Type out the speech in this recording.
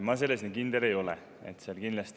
Ma selles nii kindel ei ole.